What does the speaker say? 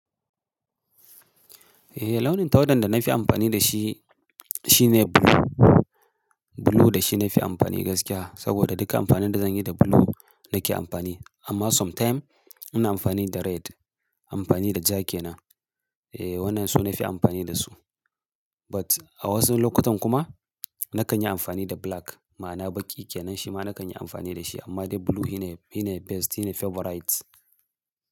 Eh launin tawada da na fi amfani da shi shine blue. Blue da shi na fi amfani gaskiya saboda duka amfanin da zan yi da blue nake amfani. Amma sometime, ina amfani da red amfani da jake nan. Eh, wannan su na fi amfani da su. But a wasu lokutan kuma na kan yi amfani da black ma na baƙi ke nan shi ma na kan yi amfani da shi amma dai blue shi ne, shi ne best, shi ne favorite.